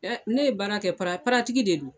ne ye baara kɛ para de do.